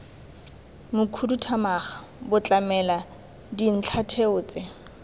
mokhuduthamaga bo tlamela dintlhatheo tse